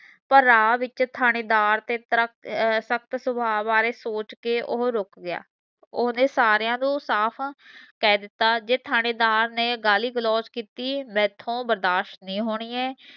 ਪਰ ਰਾਹ ਵਿੱਚ ਥਾਣੇਦਾਰ ਦਾ ਤਰਕਤ ਅਹ ਸਖਤ ਸਵਾਹ ਬਾਰੇ ਸੋਚ ਕੇ ਉਹ ਰੁਕ ਗਿਆ ਸਾਰੀਆਂ ਨੂੰ ਸਾਫ ਕਹਿ ਦਿੱਤਾ ਜੇ ਥਾਣੇਦਾਰ ਨੇ ਗਾਲੀ ਤਾਂ ਮੇਰਥੋ ਬਰਦਾਸ਼ਤ ਨਹੀਂ ਹੋਣੀ ਹੈ